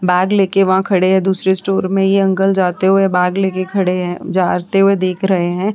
Bag लेके वहां खड़े हैं दूसरे स्टोर में यह अंकल जाते हुए बैग लेके खड़े जाते हुए देख रहै हैं।